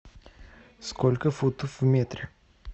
сколько футов в метре